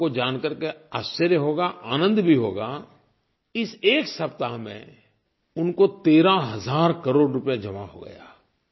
आपको जान कर के आश्चर्य होगा आनंद भी होगा इस एक सप्ताह में उनको 13 हज़ार करोड़ रुपये जमा हो गया